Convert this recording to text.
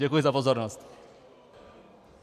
Děkuji za pozornost.